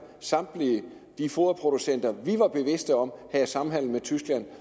samtlige de foderproducenter vi var bevidste om havde samhandel med tyskland